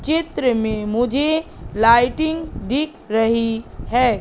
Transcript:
चित्र में मुझे लाइटिंग दिख रही है।